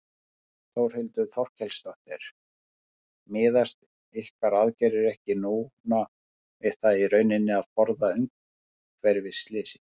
Þórhildur Þorkelsdóttir: Miðast ykkar aðgerðir ekki núna við það í rauninni að forða umhverfisslysi?